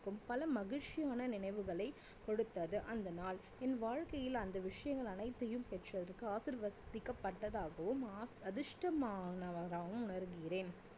பல மகிழ்ச்சியான நினைவுகளை கொடுத்தது அந்த நாள் என் வாழ்க்கையில் அந்த விஷயங்கள் அனைத்தையும் பெற்றதற்கு ஆசீர்வதிக்கப்பட்டதாகவும் அ~அதிர்ஷ்டமானவனாகவும் உணர்கிறேன்